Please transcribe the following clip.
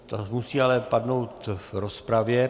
To musí ale padnout v rozpravě.